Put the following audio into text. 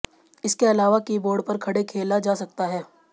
इसके अलावा कीबोर्ड पर खड़े खेला जा सकता है